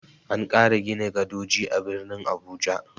An ƙara gina gadoji a birnin Abuja.